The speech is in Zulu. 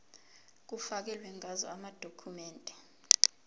kufakelwe ngazo amadokhumende